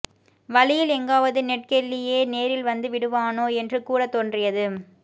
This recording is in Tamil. வழியில் எங்காவது நெட் கெல்லியே நேரில் வந்துவிடுவானோ என்று கூடத் தோன்றியது